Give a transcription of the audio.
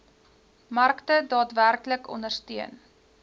markte daadwerklik ondersteun